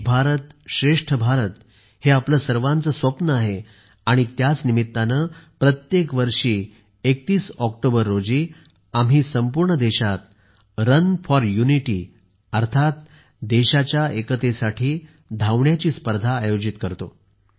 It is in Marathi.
एक भारत श्रेष्ठ भारत हे आपले सर्वांचे स्वप्न आहे आणि त्याच निमित्ताने प्रत्येक वर्षी 31 ऑक्टोबर रोजी आम्ही संपूर्ण देशात रन फोर युनिटी अर्थात देशाच्या एकतेसाठी धावण्याची ही स्पर्धा आयोजित करतो